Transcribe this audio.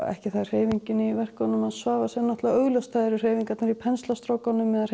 ekki það að hreyfingin í verkum Svavars er augljós hreyfingarnar í penslahreyfingunum eða